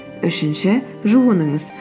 үшінші жуыныңыз